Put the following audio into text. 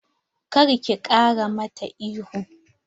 Kar ki ƙara mata ihu!